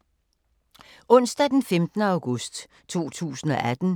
Onsdag d. 15. august 2018